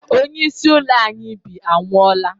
onyeisi ụlọ a anyi bi anwụola